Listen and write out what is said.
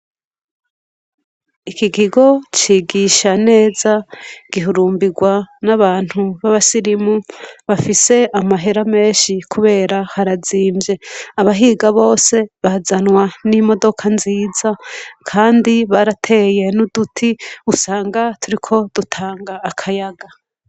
Iki gigo cigisha neza gihurumbirwa n'abantu b'abasilimu bafise amahera menshi, kubera harazimvye abahiga bose bazanwa n'imodoka nziza, kandi barateye n'uduti usanga turi ko dutanga akaya aga.